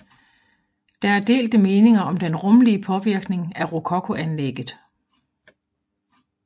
Der er delte meninger om den rumlige påvirkning af rokokoanlægget